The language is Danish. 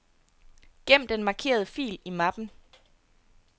Gem den markerede fil i mappen.